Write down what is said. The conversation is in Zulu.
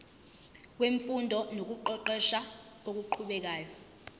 wemfundo nokuqeqesha okuqhubekayo